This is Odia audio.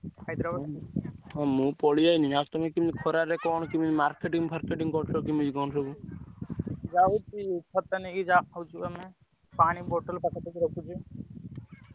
ହଁ ମୁଁ ପଳେଇଆସିଲି ~କେମି କଣ ଖରାରେ କେମିତି କଣ marketing ଫଅର୍କେଟିଂ କରୁକ କଣ ସବୁ? ଯାଉଛି ଛତା ନେଇ ଯାଉଛି ଦୋକାନ ପାଣି bottle ପାଖରେ ବି ରଖିଛି ।